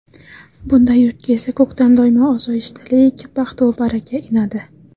Bunday yurtga esa ko‘kdan doimo osoyishtalik, baxtu baraka inadi.